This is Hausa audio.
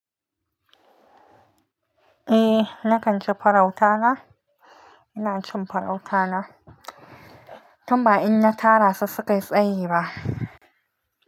Eh, nakan ci farauta na. Ina cin farauta na, tun ba in na tara su suka yi tsayi ba.